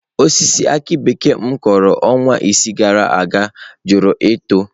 Osisi aki bekee m kụrụ ọnwa isii gara aga jụrụ ito.